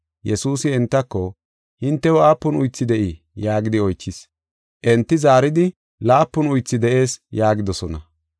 Yesuusi entako, “Hintew aapun uythi de7ii?” yaagidi oychis. Enti zaaridi, “Laapun uythi de7ees” yaagidosona.